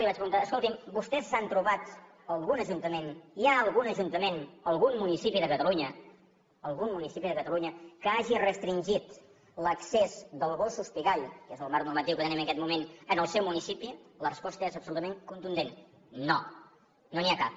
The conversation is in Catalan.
els vaig preguntar escoltin vostès s’han trobat algun ajuntament hi ha algun ajuntament o algun municipi de catalunya algun municipi de catalunya que hagi restringit l’accés dels gossos pigall que és el marc normatiu que tenim en aquest moment en el seu municipi la resposta és absolutament contundent no no n’hi ha cap